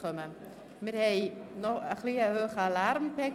Gegenwärtig haben wir noch einen hohen Lärmpegel.